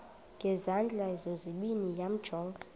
ngezandla zozibini yamjonga